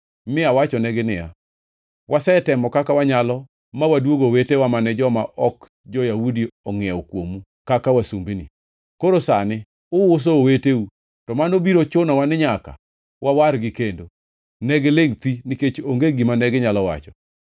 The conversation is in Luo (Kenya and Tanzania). mi awachonegi niya, “Wasetemo kaka wanyalo ma waduogo owetewa mane joma ok jo-Yahudi ongʼiewo kuomu kaka wasumbini. Koro sani uuso oweteu, to mano biro chunowa ni nyaka wawargi kendo!” Negilingʼ thi, nikech onge gima neginyalo wacho.